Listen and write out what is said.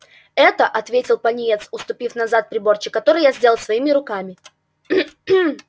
это ответил пониетс отступив назад приборчик который я сделал своими руками